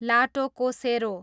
लाटोकोसेरो